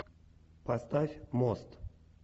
поставь мост